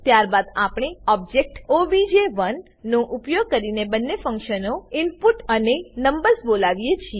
ત્યારબાદ આપણે ઓબજેક્ટ ઓબીજે1 નો ઉપયોગ કરીને બંને ફંક્શનો ઇનપુટ અને નંબર્સ બોલાવીએ છીએ